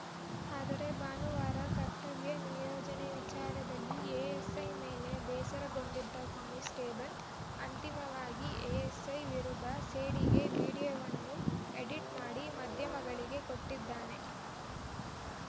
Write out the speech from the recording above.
ಆದರೆ ಭಾನುವಾರ ಕರ್ತವ್ಯ ನಿಯೋಜನೆ ವಿಚಾರದಲ್ಲಿ ಎಎಸ್‌ಐ ಮೇಲೆ ಬೇಸರಗೊಂಡಿದ್ದ ಕಾನಿಸ್ಟೇಬಲ್‌ ಅಂತಿಮವಾಗಿ ಎಎಸ್‌ಐ ವಿರುದ್ಧ ಸೇಡಿಗೆ ವಿಡಿಯೋವನ್ನು ಎಡಿಟ್‌ ಮಾಡಿ ಮಾಧಾಯಮಗಳಿಗೆ ಕೊಟ್ಟಿದ್ದಾನೆ